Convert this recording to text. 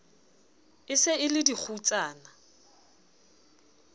e se e le dikgutsana